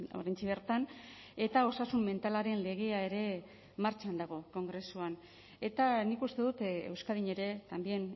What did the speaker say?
oraintxe bertan eta osasun mentalaren legea ere martxan dago kongresuan eta nik uste dut euskadin ere también